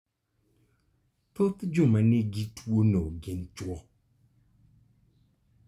Thoth joma nigi tuwono gin chwo.